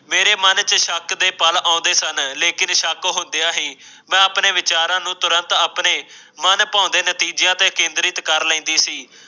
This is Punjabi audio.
ਮੇਰੇ ਮੰਨ ਕੇ ਸ਼ੱਕ ਦੇ ਪਲ ਆਉਂਦੇ ਸਨ ਲੇਕਿਨ ਸ਼ੱਕ ਹੁੰਦੀਆਂ ਹੀ ਮੈਂ ਆਪਣੇ ਵਿਚਾਰਾਂ ਨੂੰ ਤੁਰੰਤ ਆਪਣੇ ਮਨ ਭਾਉਦੇ ਨਤੀਜਿਆਂ ਤੇ ਕੇਂਦ੍ਰਿਤ ਕਰ ਲੈਂਦੀ ਸੀ।